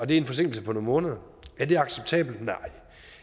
det er en forsinkelse på nogle måneder er det acceptabelt nej